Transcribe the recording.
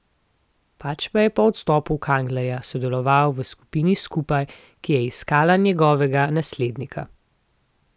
Pač pa je po odstopu Kanglerja sodeloval v skupini Skupaj, ki je iskala njegovega naslednika.